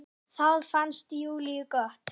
Það fannst Júlíu gott.